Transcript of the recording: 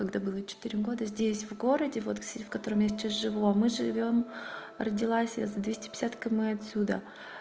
когда было четыре года здесь в городе вот в селе в котором я сейчас живу а мы живём родилась я за двести пятьдесят км отсюда